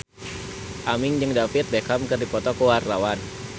Aming jeung David Beckham keur dipoto ku wartawan